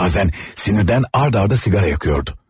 Bazen sinirdən ard-arda siqara yakıyordu.